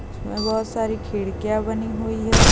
इसमे बहुत सारी खिडकिया बनी हुई है।